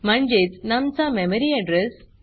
म्हणजेच नम चा मेमरी एड्रेस